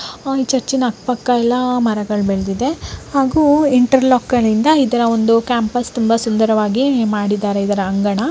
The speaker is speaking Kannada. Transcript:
ಆಹ್ಹ್ ಚರ್ಚಿನ ಅಕ್ಕ್ ಪಕ್ಕ ಎಲ್ಲ ಮರಗಳ್ ಬೆಳ್ದಿದೆ ಹಾಗು ಇಂಟೆರ್ಲಾಕ್ ಗಳಿಂದ ಇದರ ಒಂದು ಕ್ಯಾಂಪಸ್ ತುಂಬಾ ಸುಂದರವಾಗಿ ಮಾಡಿದರೆ ಇದರ ಅಂಗಣ.